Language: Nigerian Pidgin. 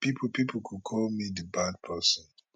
pipo pipo go call me di bad person